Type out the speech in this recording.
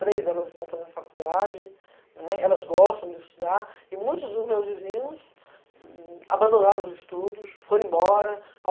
Três delas estão fazendo faculdade, elas gostam de estudar, e muitos dos meus vizinhos abandonaram os estudos, foram embora.